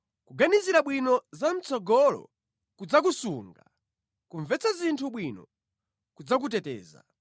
Kuganizira bwino za mʼtsogolo kudzakusunga; kumvetsa zinthu bwino kudzakuteteza.